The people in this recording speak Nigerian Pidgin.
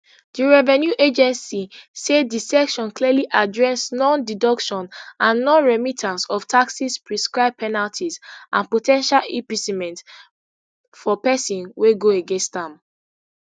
di revenue agency say di section clearly address nondeduction and nonremittance of taxes prescribe penalties and po ten tial imprisonment for pesin wey go against am